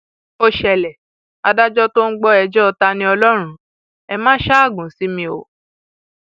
ó ṣẹlẹ adájọ tó ń gbọ ẹjọ taniọlọrun ẹ máa ṣaágùn sí mi o